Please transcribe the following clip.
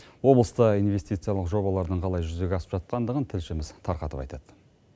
облыста инвестициялық жобалардың қалай жүзеге асып жатқандығын тілшіміз тарқатып айтады